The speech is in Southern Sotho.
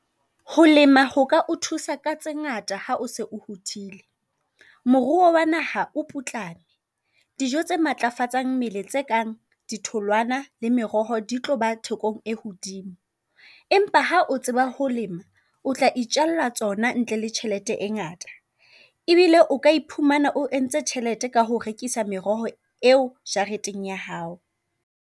Ho lema ho ka o thusa ka tse ngata ha o se o hodile. Moruo wa naha o putlame. Dijo tse matlafatsang mmele tse kang ditholwana le meroho di tloba thekong e ho hodimo. Empa ha o tseba ho lema, o tla itjalla tsona ntle le tjhelete e ngata. E bile o ka iphumana o entse tjhelete ka ho rekisa meroho eo jareteng ya hao.